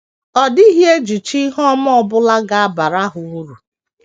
Ọ dịghị ejichi ihe ọma ọ bụla ga - abara ha uru.